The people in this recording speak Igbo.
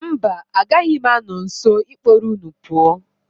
Mba, agaghị m anọ nso ịkpọrọ unu pụọ.